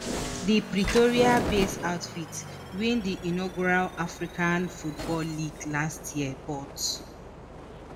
di pretoria-based outfit win di inaugural african football league last year but